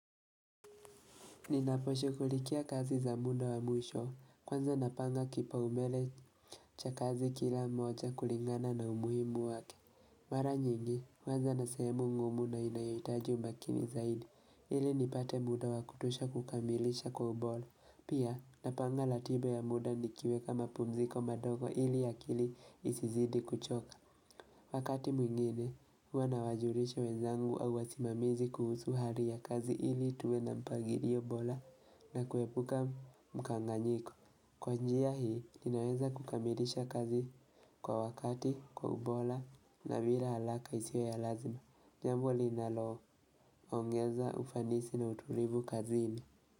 Ninaposhughulikia kazi za muda wa mwisho, kwanza napanga kipaumbele cha kazi kila moja kulingana na umuhimu wake. Mara nyingi, huanza na sehemu ngumu na inayoitaji umakini zaidi, ili nipate muda wa kutosha kukamilisha kwa ubora. Pia, napanga ratiba ya muda nikiweka mapumziko madogo ili akili isizidi kuchoka. Wakati mwingine, huwa nawajulisha wenzangu au wasimamizi kuhusu hali ya kazi ili tuwe na mpangilio bora na kuepuka mkanganyiko. Kwa njia hii, ninaweza kukamilisha kazi kwa wakati, kwa ubora, na bilw haraka isiyo ya lazima. Jambo linaloo, ongeza, ufanisi na utulivu kazini.